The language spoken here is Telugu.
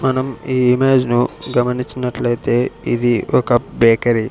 మనం ఈ ఇమేజ్ ను గమనించినట్లైతే ఇది ఒక బేకరి .